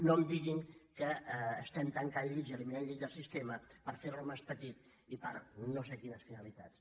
no em diguin que tanquem llits i eliminem llits del sistema per fer lo més petit i per no sé quines finalitats